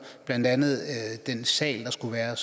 blandt andet den sag der skulle være og